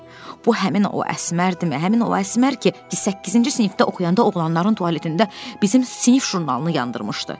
Bu həmin o Əsmərdimi, həmin o Əsmər ki, səkkizinci sinifdə oxuyanda oğlanların tualetində bizim sinif jurnalını yandırmışdı.